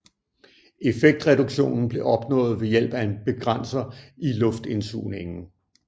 Effektreduktionen blev opnået ved hjælp af en begrænser i luftindsugningen